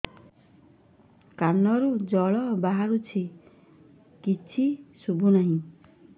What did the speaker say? କାନରୁ ଜଳ ବାହାରୁଛି କିଛି ଶୁଭୁ ନାହିଁ